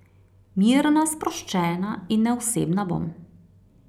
Mirna, sproščena in neosebna bom.